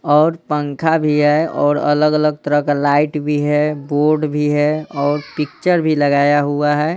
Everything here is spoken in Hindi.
और पंखा भी हैऔर अलग-अलग तरह का लाइट भी है बोर्ड भी है और पिक्चर भी लगाया हुआ है।